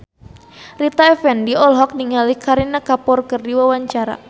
Rita Effendy olohok ningali Kareena Kapoor keur diwawancara